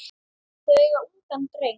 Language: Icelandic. Þau eiga ungan dreng.